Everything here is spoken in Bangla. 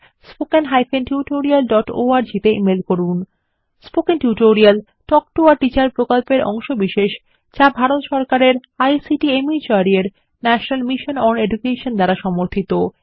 spoken tutorial talk to a teacher প্রকল্পের অংশবিশেষ যা ভারত সরকারের আইসিটি মাহর্দ এর ন্যাশনাল মিশন ওন এডুকেশন দ্বারা সমর্থিত